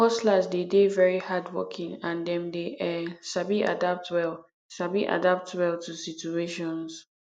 hustlers dey de very hardworking and dem dey um sabi adapt well sabi adapt well to situations